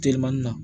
Telimani na